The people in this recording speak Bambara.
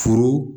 Furu